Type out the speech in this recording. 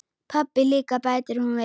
Pabbi líka, bætir hún við.